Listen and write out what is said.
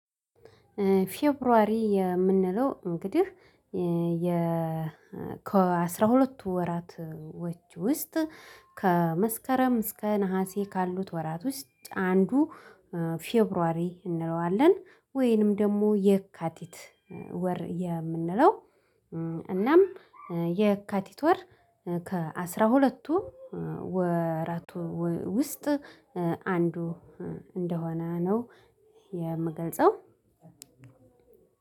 ፌብሩዋሪ የምንለው እንግዲህ የ ከአስራ ሁለቱ ወራቶች ውስጥ፣ ከመስከረም እስከ ነሀሴ ካሉት ወራት ውስጥ አንዱ ፌብሩዋሪ እንለዋለን። ወይንም ደግሞ የካቲት ወር የምንለው እናም የካቲት ወር ከአስራ ሁለቱ ወራት ውስጥ አንዱ እንደሆነ ነው የምገልጸው።